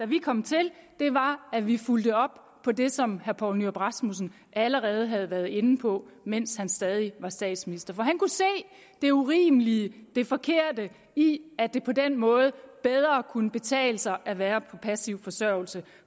vi kom til var at vi fulgte op på det som herre poul nyrup rasmussen allerede havde været inde på mens han stadig var statsminister for han kunne se det urimelige det forkerte i at det på den måde bedre kunne betale sig at være på passiv forsørgelse